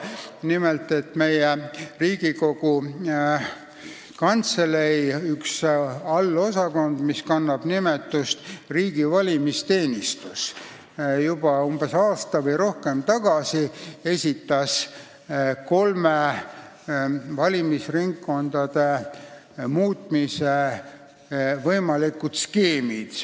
Nimelt, Riigikogu Kantselei üks osakond, mis kannab nimetust riigi valimisteenistus, esitas juba aasta või rohkem tagasi kolm valimisringkondade muutmise võimalikku skeemi.